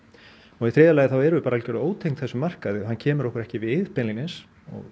og í þriðja lagi þá erum við bara algjörlega ótengd þessum markaði og hann kemur okkur ekki við beinlínis